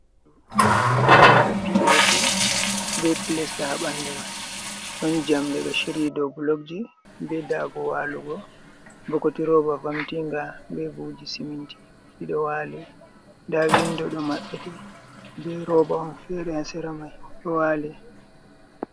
Bedo wada pop be plesta ha bandu mai don jamde do shiryi do blogji be dago walugo bokoti roba vamtinga be buji siminti dido wali da windo do mabbiti be roba on fere a sera mai do wali.